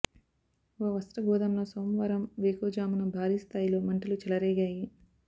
ఓ వస్త్ర గోదాంలో సోమవారం వేకువజామున భారీ స్థాయిలో మంటలు చెలరేగాయి